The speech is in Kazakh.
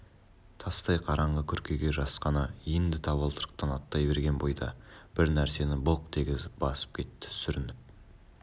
тастай қараңғы күркеге жасқана енді табалдырықтан аттай берген бойда бір нәрсені былқ дегізіп басып кетті сүрініп